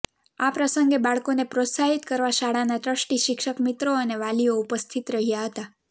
આ પ્રસંગે બાળકોને પ્રોત્સાહિત કરવા શાળાના ટ્રસ્ટી શિક્ષકમિત્રો અને વાલીઓ ઉપસ્થિત રહ્યા હતા